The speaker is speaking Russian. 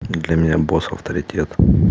для меня босс авторитет